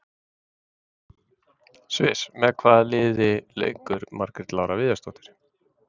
Sviss Með hvaða liði leikur Margrét Lára Viðarsdóttir?